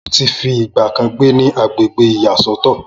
Mo ti fi ìgbà kan gbé ní agbègbè ìyá sọ́tọ̀